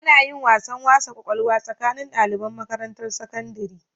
Anayin wasan wasa kwakwalwa tsakanin daliban Makarantan sakandiri